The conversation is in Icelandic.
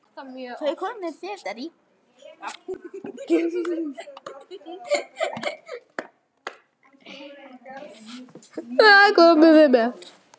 Hvað komum við með?